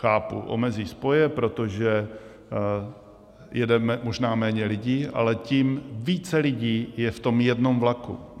Chápu, omezí spoje, protože jede možná méně lidí, ale tím více lidí je v tom jednom vlaku.